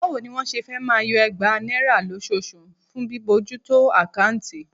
Báwo ni wọ́n ṣe fẹ́ máa yọ ẹgbàá náírà lóṣooṣù fún bíbójútó àkáùntì?